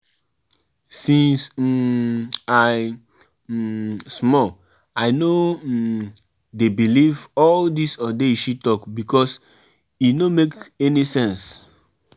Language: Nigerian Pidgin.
My friend tell me sey juju dey real but I tink sey na superstition.